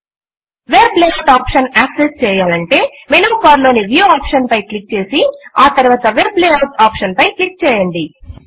web layout option access చేయాలంటే menu bar లోని view option పై క్లిక్ చేసి ఆ తరువాత వెబ్ లేఆఉట్ ఆప్షన్ పై క్లిక్ చేయండి